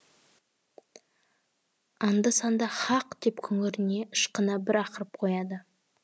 анда санда һақ деп күңірене ышқына бір ақырып қояды